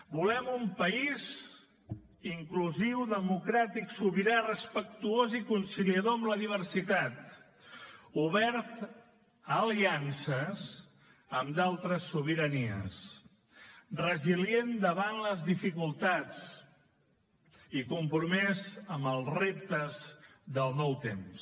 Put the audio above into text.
volem un país inclusiu democràtic sobirà respectuós i conciliador amb la diversitat obert a aliances amb d’altres sobiranies resilient davant les dificultats i compromès amb els reptes del nou temps